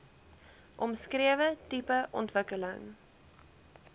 omskrewe tipe ontwikkeling